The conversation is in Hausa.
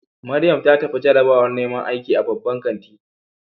Mariam ta tafi jarabawar neman aiki a babban kanti.